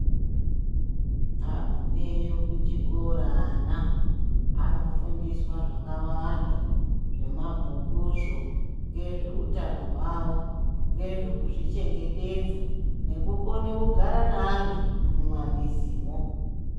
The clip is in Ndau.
Agumeyo kuchikora ana anofundiswa zvakawanda zvemabhukuzvo ngezveutano hwavo. Ngezve kuzvichengetedza nekukone kugara neantu mumamizimho.